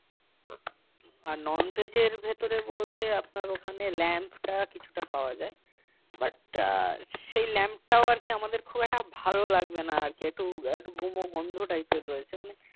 আর non veg এর ভেতরে বলতে আপনার ওখানে lamb টা কিছুটা পাওয়া যায় but সেই lamb টা ও আমাদের খুব একটা ভালো লাগবে না আর কি একটু একটু গুমো গন্ধ type এর রয়েছে মানে